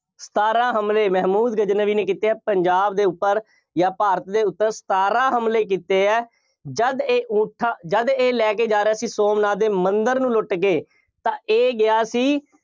ਸਤਾਰਾਂ ਹਮਲੇ, ਮਹਿਮੂਦ ਗਜ਼ਨਵੀ ਨੇ ਕੀਤੇ ਆ, ਪੰਜਾਬ ਦੇ ਉੱਪਰ ਜਾਂ ਭਾਰਤ ਦੇ ਉੱਪਰ ਸਤਾਰਾਂ ਹਮਲੇ ਕੀਤੇ ਆ, ਜਦ ਇਹ ਊਠਾਂ, ਜਦ ਇਹ ਲੈ ਕੇ ਜਾ ਰਿਹਾ ਸੀ ਸੋਮਨਾਥ ਦੇ ਮੰਦਿਰ ਨੂੰ ਲੁੱਟ ਕੇ, ਤਾਂ ਇਹ ਗਿਆ ਸੀ।